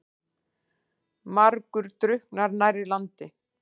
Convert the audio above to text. Margur drukknar nærri landi.